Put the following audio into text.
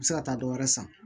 U bɛ se ka taa dɔ wɛrɛ san